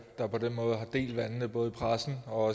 der på den måde har delt vandene både i pressen og